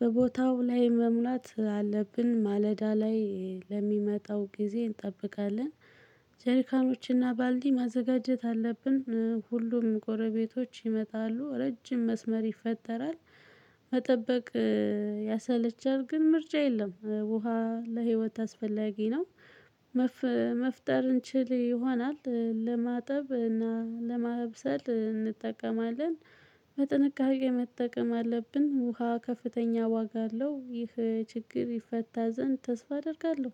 በቦታው ላይ መሙላት አለብን ማለዳ ላይ ለሚመጣው ጊዜ እንጠብቃለን። ጀሪካኖችና ባልዲ ማዘጋጀት አለብን ሁሉም ጎረቤቶች ይመጣሉ ረጅም መስመር ይፈጠራል። መጠበቅ ያሰለቻል ግን ምርጫ የለም ውሃ ለህይወት አስፈላጊ ነው። መፍጠር እንችል ይሆናል ለማጠብ እና ለማብሰል እንጠቀማለን። በጥንቃቄ መጠቀም አለብን ውሃ ከፍተኛ ዋጋ አለው። ይህ ችግር ይፈታ ዘንድ ተስፋ አደርጋለሁ።